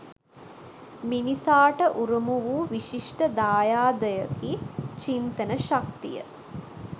මිනිසාට උරුම වූ විශිෂ්ට දායාදයකි චින්තන ශක්තිය